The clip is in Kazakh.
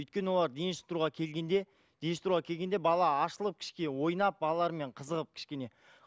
өйткені олар дене шынықтыруға келгенде дене шынықтыруға келгенде бала ашылып кішкене ойнап балалармен қызығып кішкене